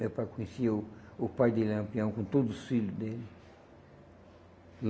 Meu pai conhecia o o pai de Lampião com todos os filho dele.